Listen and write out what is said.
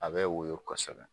A bɛ woyo kɔsɛbɛ.